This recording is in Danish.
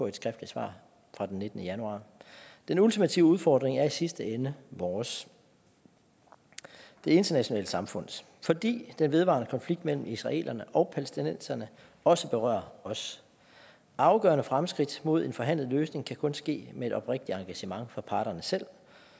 et skriftligt svar fra den nittende januar den ultimative udfordring er i sidste ende vores det internationale samfunds fordi den vedvarende konflikt mellem israelerne og palæstinenserne også berører os afgørende fremskridt mod en forhandlet løsning kan kun ske med et oprigtigt engagement fra parterne selv